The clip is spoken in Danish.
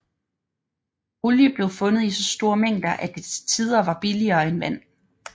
Olie blev fundet i så store mængder at det til tider var billigere end vand